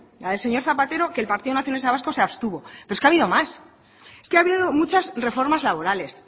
la del señor zapatero que el partido nacionalista vasco se abstuvo pero es que ha habido más ha habido muchas reformas laborales